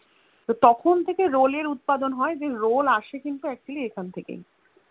তো তখন থেকে Roll এর উৎপাদন হয়ে যে রোল আসে কিন্তু আসলে এখন থেকেই